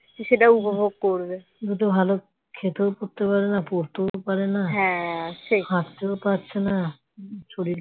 সেটা উপভোগ করবে খেতেও পারে না পড়তেও পারে না হাঁটতেও পারছে না